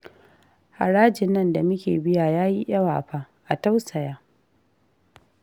Harajin nan da muke biya ya yi yawa fa, a tausaya